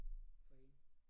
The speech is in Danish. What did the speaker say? For én